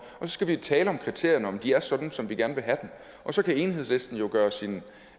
skal vi tale om kriterierne om de er sådan som vi gerne vil have dem og så kan enhedslisten jo gøre sin